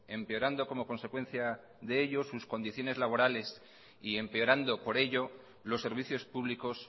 empeorando como consecuencia de ello sus condiciones laborales y empeorando por ello los servicios públicos